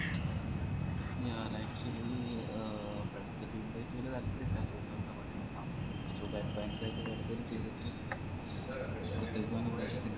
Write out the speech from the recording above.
ഞാന് actually ആഹ് പഠിച്ച field ആയിറ്റ് വെല്യ താൽപ്പര്യയില്ല ഇപ്പൊ തൽക്കാലത്തേക്ക് വേറെന്തെങ്കിലും ചെയ്‍തിറ്റ്